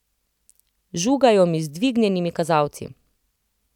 Žugajo mi z dvignjenimi kazalci.